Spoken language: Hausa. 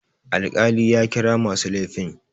Alkali ya kira masu laifin.